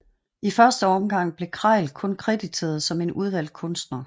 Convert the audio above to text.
I første omgang blev Kralj kun krediteret som en udvalgt kunstner